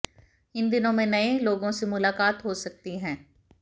इन दिनों में नए लोगों से मुलाकात हो सकती है